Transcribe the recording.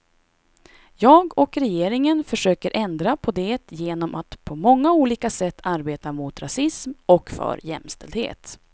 Jag och regeringen försöker ändra på det genom att på många olika sätt arbeta mot rasism och för jämställdhet.